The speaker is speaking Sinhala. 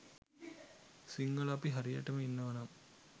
සිංහල අපි හරියට ඉන්නවනම්